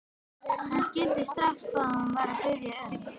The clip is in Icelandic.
Hann skildi strax hvað hún var að biðja um.